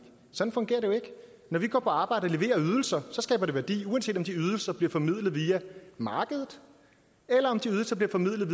sådan fungerer det jo ikke når vi går på arbejde og leverer ydelser skaber det værdi uanset om de ydelser bliver formidlet via markedet eller om de ydelser bliver formidlet